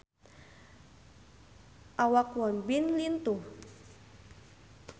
Awak Won Bin lintuh